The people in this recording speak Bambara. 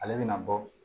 Ale bɛna bɔ